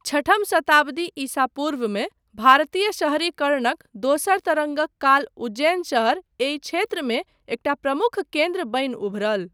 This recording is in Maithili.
छठम शताब्दी ईसा पूर्वमे भारतीय शहरीकरणक दोसर तरङ्गक काल उज्जैन शहर एहि क्षेत्रमे एकटा प्रमुख केन्द्र बनि उभरल।